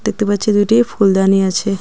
দেখতে পাচ্ছি দুইটি ফুলদানি আছে .